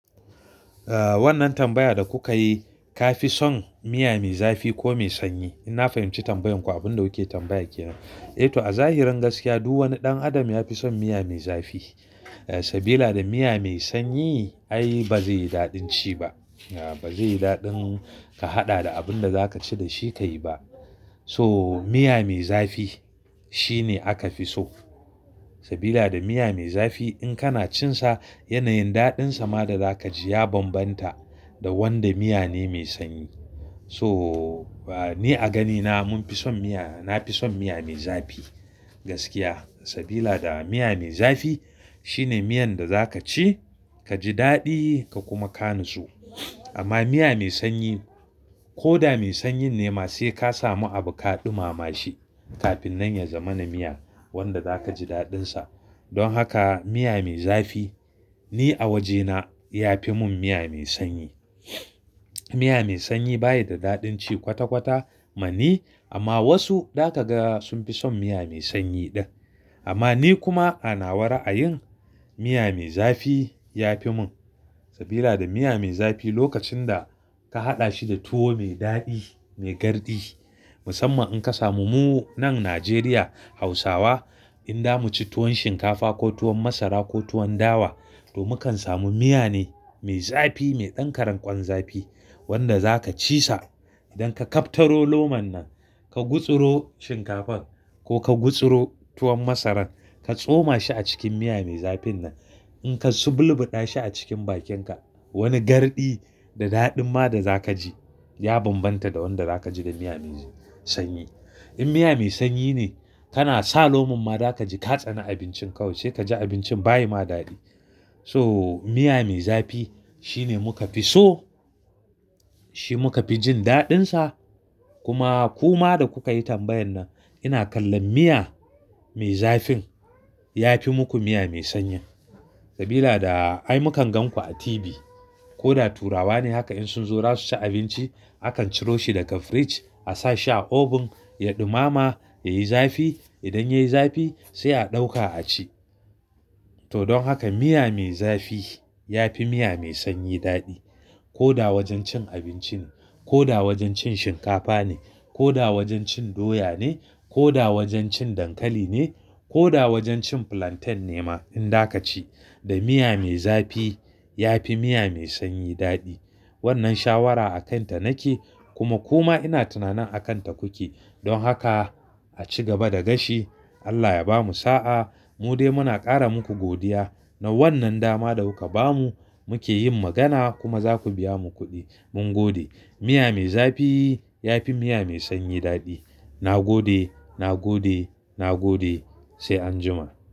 Eh wannan tambaya da kuka yi, ka fi son miya me zafi ko mai sanyi? In na fahimci tambayan ku abin da kuke tambaya kenan. Eh to a zahirin gaskiya, duk wani ɗan adam ya fi son miya me zafi. Sabila da miya mai sanyi ai bazai yi daɗin ci ba. Bazai yi daɗin ka haɗa da abun da za ka ci da shi ka yi ba. So miya me zafi shine aka fi so. Sabida da miya me zafi in kana cin sa yanayin daɗin sa ma da za kaji ya bambanta da wanda miya ne mai sanyi. So ni a ganina mun fi son miya, na fi son miya me zafi. Gaskiya, sabida da miya me zafi shine miyan da za ka ci, ka ji daɗi ka kuma ka nitso. Amma miya mai sanyi, ko da mai sanyi ne ma sai ka samu abu ka ɗumama shi kafin nan ya zama na miya wanda zaka ji daɗin sa. Don haka miya me zafi ni a wajena ya fi mun miya mai sanyi. Miya mai sanyi baya da daɗin ci kwata-kwata mani, amma wasu da ka ga sun fi son miya mai sanyi ɗan. Amma ni kuma ana ra'ayin miya me zafi ya fi mun. Sabila da miya me zafi lokacin da ka haɗa shi da tuwo mai daɗi, mai garɗi. Musamman in ka samu mu nan Najeriya, Hausawa in da mu ci tuwon shinkafa ko tuwon masara ko tuwon dawa, to mukan samu miya ne mai zafi, mai ɗan karen ƙwan zafi wanda za ka ci sa idan ka kaftaro loman nan, ka gutsuro shinkafar ko ka gutsuro tuwon masaran ka tsoma shi a cikin miya mai zafin nan. In ka subulɓuɗa shi a cikin bakin ka, wani garɗi da daɗin ma da za ka ji ya bambanta da wanda za ka ji da miya mai sanyi. In miya mai sanyi ne kana sa lomin ma za kaji ka tsani abincin ka, sai ka ji abincin bayi ma daɗi. So miya me zafi shine muka fi so, shi muka fi jin daɗin sa. Kuma ku ma da kuka yi tambayan nan, ina kallon miya me zafin ya fi muku miya mai sanyi. Sabila da ai mukan gan ku a tibi. Ko da turawa ne haka in sun zo su ci abinci, akan ciro shi daga fridge, a sa shi a oven ya ɗumama, ya yi zafi. Idan ya yi zafi sai a ɗauka a ci. To don haka miya me zafi ya fi miya mai sanyi daɗi. Ko da wajen cin abinci ne, ko da wajen cin shinkafa ne, ko da wajen cin doya ne, ko da wajen cin dankali ne, ko da wajen cin plantain ne ma in za ka ci. Da miya me zafi ya fi miya mai sanyi daɗi. Wannan shawara a kan ta nake kuma ku ma ina tunanin a kan ta kuke. Don haka a ci gaba da gashi. Allah ya bamu sa'a. Mu dai muna ƙara muku godiya na wannan dama da kuka bamu. Muke yin magana kuma za ku biya mu kuɗi. Mun gode. Miya me zafi ya fi miya mai sanyi daɗi. Na gode, na gode, na gode sai an jima.